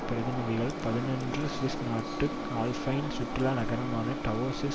பிரதிநிதிகள் புதனன்று சுவிஸ் நாட்டு ஆல்பைன் சுற்றுலா நகரமான டாவோஸில்